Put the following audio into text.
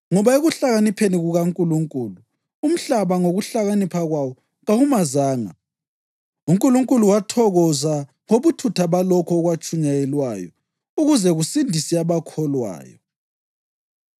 Ngoba ekuhlakanipheni kukaNkulunkulu, umhlaba ngokuhlakanipha kwawo kawumazanga, uNkulunkulu wathokoza ngobuthutha balokho okwatshunyayelwayo ukuze kusindise abakholwayo